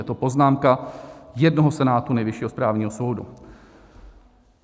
Je to poznámka jednoho senátu Nejvyššího správního soudu.